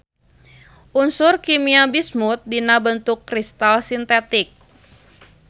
Unsur kimia bismut dina bentuk kristal sintetik.